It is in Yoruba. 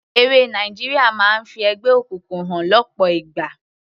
Eré Nàìjíríà máa ń fi ẹgbẹ́ òkùnkùn hàn lọ́pọ̀ ìgbà.